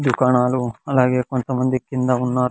దుకాణాలు అలాగే కొంత మంది కింద ఉన్నారు.